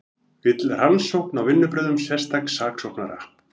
Vill rannsókn á vinnubrögðum sérstaks saksóknara